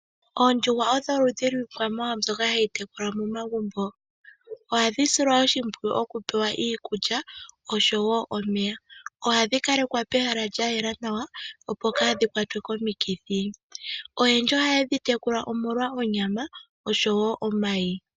Oondjuhwa odho oludhi lwiikwamawawa mbyoka hayi tekulwa momagumbo. Ohadhi silwa oshimpwiyu oku pewa iikulya osho wo omeya. Ohadhi kale kwa pehala lya yela nawa opo kaadhi kwatwe komikithi. Oyendji ohaye dhi tekula omolwa onyama osho wo omayi.